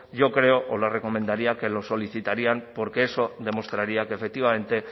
yo creo o le recomendaría que los solicitaran porque eso demostraría que efectivamente